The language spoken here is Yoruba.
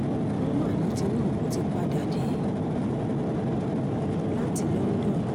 wọ́n mà ní tinubu ti padà dé láti london